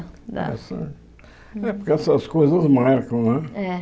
Essa é porque essas coisas marcam, né? É